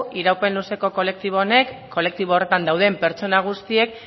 iraupen luzeko kolektibo honek kolektibo honetan dauden pertsona guztiek